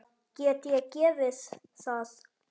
Get ég gefið það?